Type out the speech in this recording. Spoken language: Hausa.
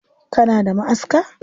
Kana da ma'aska?